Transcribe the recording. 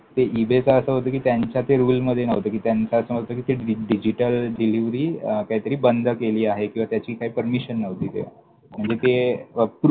ते ईबेचं असं होतं कि त्यांच्या ते रूलमध्ये नव्हतं. कि त्यांचं असं नव्हतं कि digital delivery काहीतरी बंद केली आहे किंवा त्याची काही permission नव्हती तेव्हा. म्हणजे ते